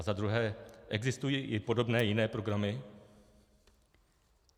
A za druhé: Existují i podobné jiné programy?